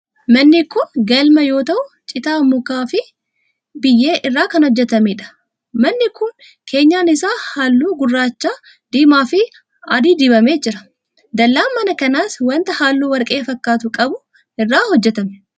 Manni kun, galma yoo ta'u, citaa ,muka fi biyyee irraa kan hojjatamee dha. Manni kun, keenyaan isaa haalluu gurraacha, diimaa fi adii dibamee jira. Dallaan mana kanaas wanta haalluu warqee fakkaatu qabu irraa hojjatame.